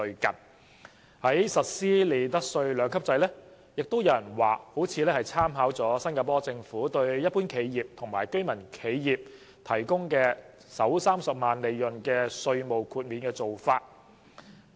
至於擬議實施的利得稅兩級制，有人認為林太似乎參考了新加坡政府對一般企業和居民企業提供首30萬元利潤享有稅務豁免的做法。